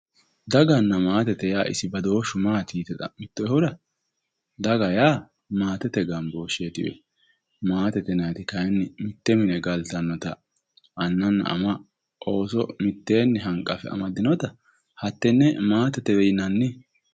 Daganna maate yaa isi mayyaate boodooshshu yite xa'moottoehura daga yaa maatete gambooshsheetilla maate yaa mitto mine galtannota anna ama ooso mitteenni hanqanfe hattenne maatetewe yinanni.